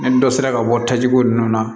Ni dɔ sera ka bɔ tajiko ninnu na